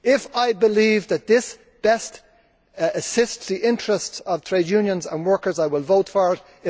If I believe that this best assists the interests of trade unions and workers, I will vote for it.